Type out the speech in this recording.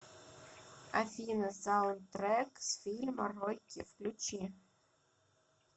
афина саундтрек с фильма рокки включи